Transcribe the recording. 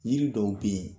Yiri dɔw be yen